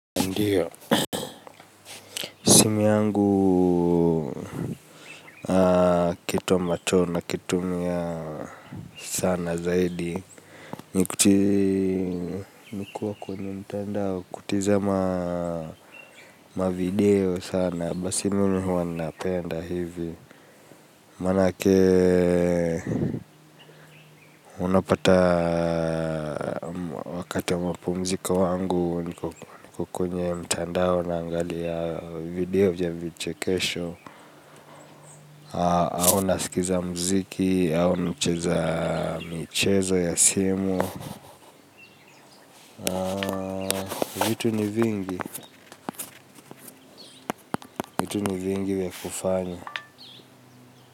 Ndiyo. Simu yangu kitu ambacho nakitumia sana zaidi. Nikuwa kwenye mtandao kutazama mavideo sana. Basi mimi huwa napenda hivi. Manake unapata wakati wa mapumzika wangu. Niko kwenye mtandao naangalia video vya vichekesho. Au nasikiza mziki, au micheza michezo ya simu vitu ni vingi, vitu ni vingi vy kufanya.